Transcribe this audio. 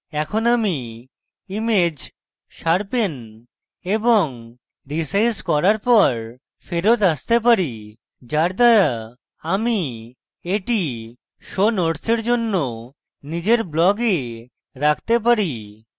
এখন আমি image sharpening এবং রীসাইজ করার পর ফেরৎ আসতে পারি যার দ্বারা আমি এটি show নোটসের জন্য নিজের blog রাখতে পারি